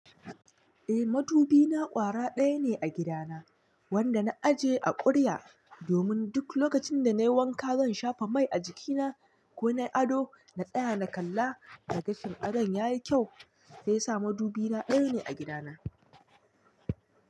Eh, madubi na ƙwara ɗaya ne a gidana, wanda na ajiye a ƙuri'a domin duk lokacin da na yi wanka, zan shafa mai a jikina ko na yi ado na tsaya na kalla na gashin ado ya yi kyau. Sai sa madubi na ɗaya ne a gida na.